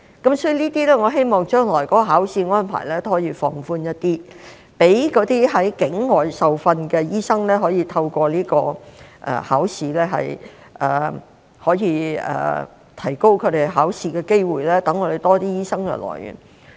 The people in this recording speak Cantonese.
我希望將來的考試安排可以稍為放寬，讓那些在境外受訓的醫生可以參加這個考試，提高他們考試的機會，以增加本港醫生的來源。